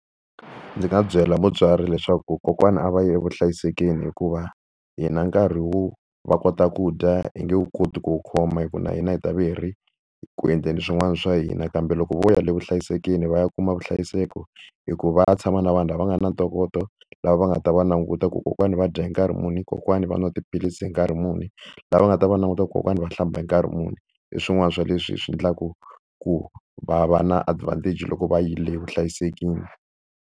Ndzi nga byela mutswari leswaku kokwana a va ye hlayiselweni, hikuva hina nkarhi wo va kota ku dya hi nge wu koti ku wu khoma hikuva na hina hi ta va hi ri ku endleni swin'wana swa hina. Kambe loko vo ya evuhlayiselweni va ya kuma vuhlayiseko hikuva va ya tshama na vanhu lava nga na ntokoto, lava va nga ta va languta ku kokwana va dya hi nkarhi muni, kokwani va nwa tiphilisi hi nkarhi muni. Lava nga ta va languta ku kokwana va hlamba hi nkarhi muni. Hi swin'wana swa leswi hi swi endlaka ku va va na advantage loko va yile vuhlayiselweni.